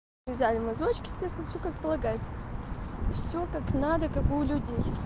взяли мазочки естественно все как полагается все как надо как у людей